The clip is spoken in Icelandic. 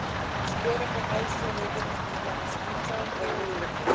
Skorða ber háls og höfuð, með til dæmis handklæðum, ef mögulegt er.